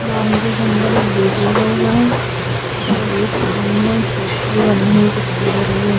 Boundary के अंदर एक गेट लगा हुआ है और ये सामने फैक्ट्री बनी हुई दिखाई दे रही है।